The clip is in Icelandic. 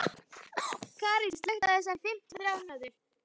Karín, slökktu á þessu eftir fimmtíu og þrjár mínútur.